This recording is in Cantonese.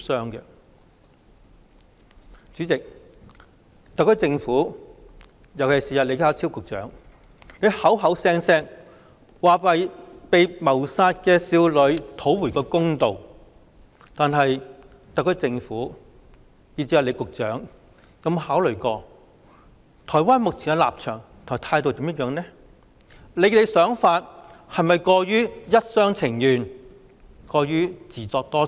代理主席，特區政府——尤其是李家超局長——動輒說要為被殺害的少女討回公道，但特區政府以至李局長有否考慮台灣目前的立場和態度，想法又是否過於一廂情願、自作多情？